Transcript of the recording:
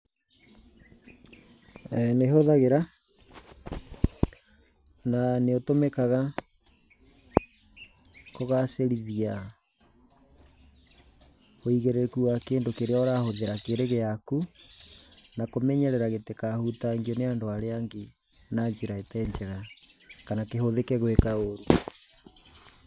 Nĩhũthagĩra, na nĩũtũmĩkaga, kũgacĩrithia ũigĩrĩrĩku wa kĩndũ kĩrĩa ũrahũthĩra kĩrĩ gĩaku, na kũmenyerera gĩtikahutangio nĩ andũ arĩa angĩ na njĩra ĩtee njega kana kĩhũthĩke gwika ũũru.